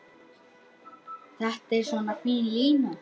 Þetta er svo fín lína.